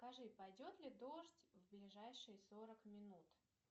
скажи пойдет ли дождь в ближайшие сорок минут